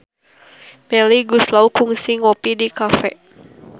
Melly Goeslaw kungsi ngopi di cafe